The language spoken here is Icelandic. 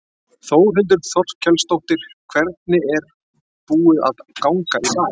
Þórhildur Þorkelsdóttir: Hvernig er búið að ganga í dag?